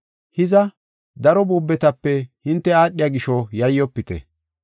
Hiza, daro buubetape hinte aadhiya gisho yayyofite.